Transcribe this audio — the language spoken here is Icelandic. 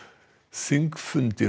þingfundum